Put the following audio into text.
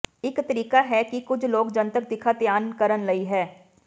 ਇਕ ਤਰੀਕਾ ਹੈ ਕਿ ਕੁਝ ਲੋਕ ਜਨਤਕ ਦਿਖਾ ਧਿਆਨ ਕਰਨ ਲਈ ਹੈ